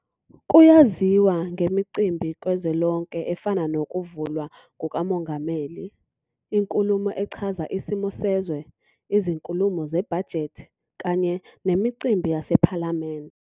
Kuyaziwa ngemicimbi kazwelonke efana nokuvulwa kukamongameli, Inkulumo Echaza Isimo Sezwe, Izinkulumo Zebhajethi, kanye nemicimbi yasePhalamende.